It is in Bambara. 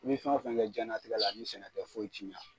I bɛ fɛn o fɛn kɛ jiyɛn latigɛ la ni sɛnɛ tɛ foyi ti ɲɛ.